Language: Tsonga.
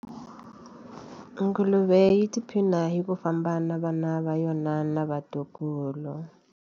Nguluve yi tiphina hi ku famba na vana va yona na vatukulu.